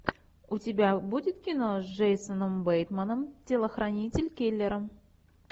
у тебя будет кино с джейсоном бейтманом телохранитель киллера